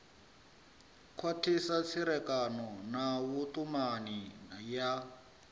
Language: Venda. khwathisa tserekano na vhutumani ya